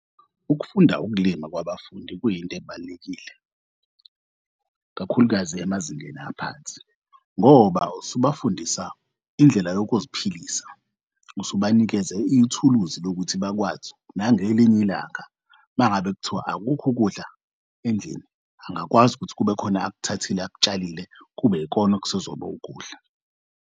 Ukufunda ukulima kwabafundi kuyint'ebalulekile, kakhulukazi emazingeni aphansi ngoba usubafundisa indlela yokuziphilisa. Usubanikeze ithuluzi lokuthi bakwazi nangelinye ilanga mangabe kuthiwa akukho ukudla endlini angakwazi ukuthi kubekhona akuthathile akutshalile kubekona okusezokuba ukudla.